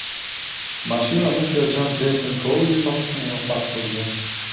Mashinani serjant Jeyson Kouli topishga muvaffaq bo‘lgan.